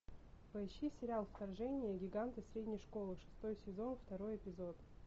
поищи сериал вторжение гиганты средней школы шестой сезон второй эпизод